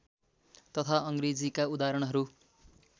तथा अङ्ग्रेजीका उदाहरणहरू